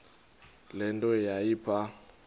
le nto yayipha